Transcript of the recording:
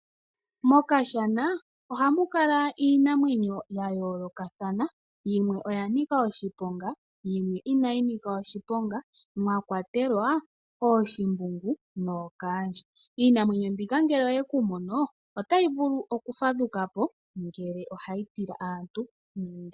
Mokashana ohamu kala iinamwenyo ya yoolokathana . Yimwe oya nika oshiponga yimwe inayi nika oshiponga mwa kwatelwa ooshimbungu nookaandje. Iinamwenyo mbika ngele oye ku mono otayi vulu okufadhuka po ngele oha yi tila aantu.